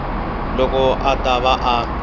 loko a ta va a